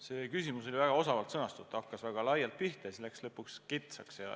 See küsimus oli väga osavalt sõnastatud, hakkas väga laialt pihta ja lõpuks läks kitsaks.